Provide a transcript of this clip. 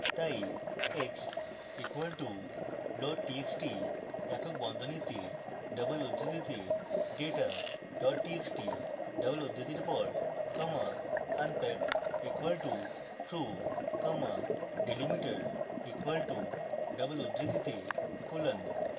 txt x equal to loadtxt একক বন্ধনীতে double উদ্ধৃতিতে data dot txt double উদ্ধৃতির পর comma unpack equal to true comma delimiter equal to double উদ্ধৃতিতে colon